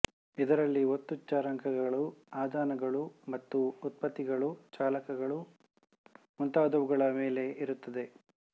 ಇದರಲ್ಲಿ ಒತ್ತು ಚರಾಂಕಗಳು ಆದಾನಗಳು ಮತ್ತು ಉತ್ಪತ್ತಿಗಳು ಚಾಲಕಗಳು ಮುಂತಾದವುಗಳ ಮೇಲೆ ಇರುತ್ತದೆ